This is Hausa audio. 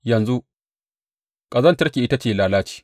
Yanzu ƙazantarki ita ce lalaci.